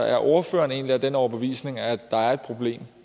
er ordføreren egentlig af den overbevisning at der er et problem